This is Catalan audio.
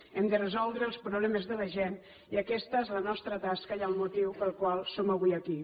hem de resoldre els problemes de la gent i aquesta és la nostra tasca i el motiu pel qual som avui aquí